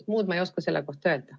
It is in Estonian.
Muud ma ei oska selle kohta öelda.